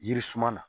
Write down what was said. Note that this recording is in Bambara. Yiririsuman na